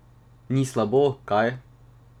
Ni slabo, kaj?